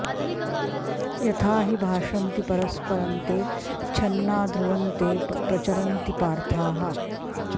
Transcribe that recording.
यथा हि भाषन्ति परस्परं ते छन्ना ध्रुवं ते प्रचरन्ति पार्थाः